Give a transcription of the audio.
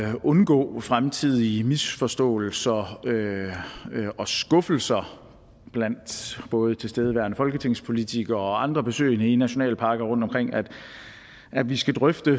at undgå fremtidige misforståelser og skuffelser blandt både tilstedeværende folketingspolitikere og andre besøgende i nationalparker rundtomkring at vi skal drøfte